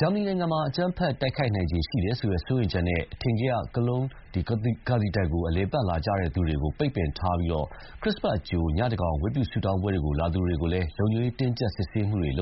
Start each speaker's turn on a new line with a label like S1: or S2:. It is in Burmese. S1: ဂျာမနီနိုင်ငံမှာ အကြမ်းဖက်တိုက်ခိုက်နိုင်ခြေရှိတယ်ဆိုတဲ့စိုးရိမ်ချက်နဲ့ အထင်ကရ Cologne cathedral ကို အလည်အပတ်လာကြည့်သူတွေကို ပိတ်ပင်ထားပြီး ခရစ်စတ်အကြို ညသန်းခေါင်ယံဝတ်ပြုဆုတောင်းပွဲလာသူတွေကို လုံခြုံရေးတင်းကြပ် စစ်ဆေးခဲ့ပါတယ်